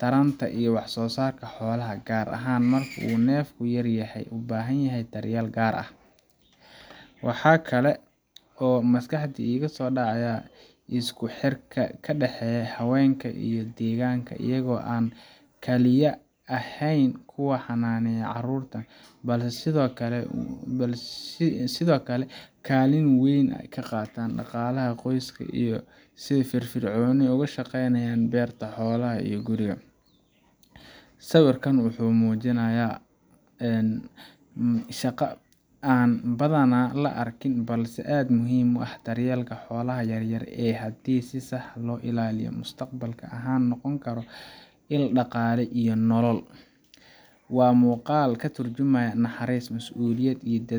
taranta iyo wax-soo-saarka xoolaha, gaar ahaan marka uu neefku yar yahay oo u baahan daryeel gaar ah. Waxa kale oo maskaxda iiga soo dhacaya isku xirka ka dhexeeya haweenka iyo deegaanka iyaga oo aan kaliya ahayn kuwa xanaaneya caruurta, balse sidoo kale kaalin weyn ka qaata dhaqaalaha qoyska iyagoo si firfircoon uga shaqeynaya beerta, xoolaha, iyo guriga. Sawirkan wuxuu iftiiminayaa shaqo aan badanaa la arkin balse aad u muhiim ah daryeelka xoolaha yar yar ee haddii si sax ah loo ilaaliyo, mustaqbal ahaan noqon kara il dhaqaale iyo nolol. Waa muuqaal ka turjumaya naxariis, masuuliyad, iyo